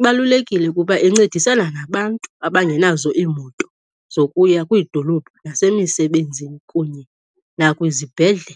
ibalulekile kuba incedisana nabantu abangenazo iimoto zokuya kwiidolophu nasemisebenzini kunye nakwizibhedlele.